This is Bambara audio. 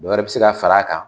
Dɔ wɛrɛ bi se ka far'a kan